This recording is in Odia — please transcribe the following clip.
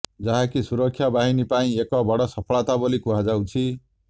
ଯାହାକି ସୁରକ୍ଷା ବାହିନୀ ପାଇଁ ଏକ ବଡ ସଫଳତା ବୋଲି କୁହାଯାଉଛି